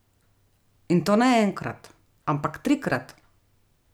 In to ne enkrat, ampak trikrat!